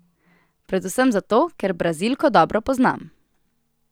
Predvsem zato, ker Brazilko dobro poznam.